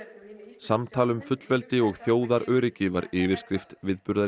samtal um fullveldi og þjóðaröryggi var yfirskrift